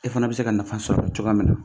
E fana bɛ se ka nafa sɔrɔ cogoya min na